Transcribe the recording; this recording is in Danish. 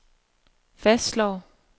fastslår